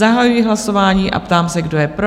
Zahajuji hlasování a ptám se, kdo je pro?